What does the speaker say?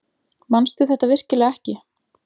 Manstu þetta virkilega ekki?